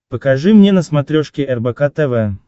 покажи мне на смотрешке рбк тв